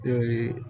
Ee